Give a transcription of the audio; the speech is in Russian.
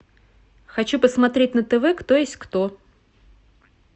хочу посмотреть на тв кто есть кто